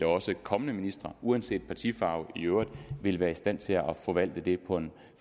også kommende ministre uanset partifarve i øvrigt vil være i stand til at forvalte det på en